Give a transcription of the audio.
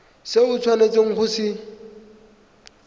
se o tshwanetseng go se